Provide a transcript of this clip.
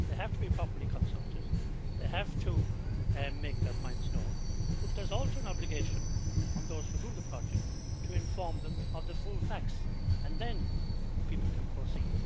They have to be properly consulted, they have to make their points known, but there is also an obligation on those who run the project to inform them of the full facts, and then people can proceed.